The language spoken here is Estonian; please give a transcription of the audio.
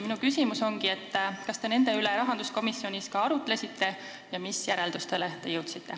Minu küsimus ongi, kas te nende üle rahanduskomisjonis arutlesite ja mis järeldustele te jõudsite.